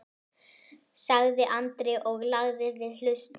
sagði Andri og lagði við hlustir.